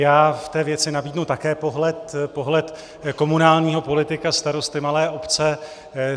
Já v té věci nabídnu také pohled komunálního politika, starosty malé obce.